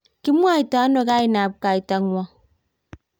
kimwoitano kainab kaitang'wong'?